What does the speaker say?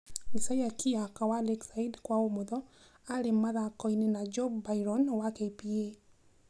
Isaiah Kiyaka wa Lakeside (kwa ũmotho) arĩ mũthako-inĩ na Job Byron wa KPA.